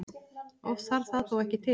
Oft þarf það þó ekki til.